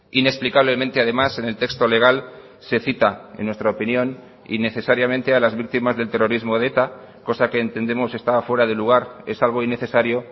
inexplicablemente además en el texto legal se cita en nuestra opinión innecesariamente a las víctimas del terrorismo de eta cosa que entendemos está fuera de lugar es algo innecesario